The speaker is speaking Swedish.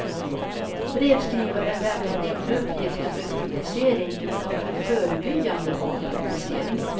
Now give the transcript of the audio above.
Brevskrivaren lämnade inte uppgifter för publicering utan för förebyggande av publicering.